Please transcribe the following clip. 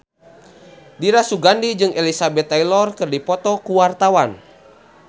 Dira Sugandi jeung Elizabeth Taylor keur dipoto ku wartawan